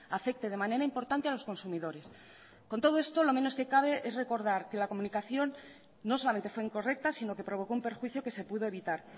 afecte de manera importante a los consumidores con todo esto lo menos que cabe es recordar que la comunicación no solamente fue incorrecta sino que provocó un perjuicio que se pudo evitar